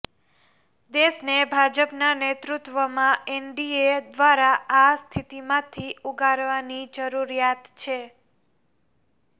દેશને ભાજપના નેતૃત્વમાં એનડીએ દ્રારા આ સ્થિતિમાંથી ઉગારવાની જરૂરિયાત છે